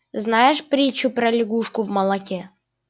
знаешь притчу про лягушку в молоке